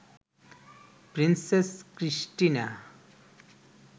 princess Christina